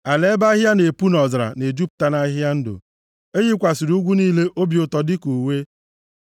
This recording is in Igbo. Ala ebe ahịhịa na-epu nʼọzara na-ejupụta nʼahịhịa ndụ, e yikwasịrị ugwu niile obi ụtọ dịka uwe.